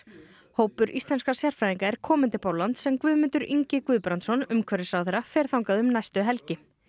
hópur íslenskra sérfræðinga er kominn til Póllands en Guðmundur Ingi Guðbrandsson umhverfisráðherra fer þangað um næstu helgi